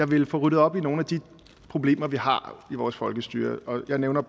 ville få ryddet op i nogle af de problemer vi har i vores folkestyre og her nævner